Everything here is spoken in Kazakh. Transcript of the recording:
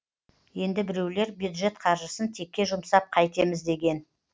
енді біреулер бюджет қаржысын текке жұмсап қайтеміз деген